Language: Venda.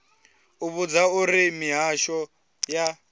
u vhudzwa uri mihasho ya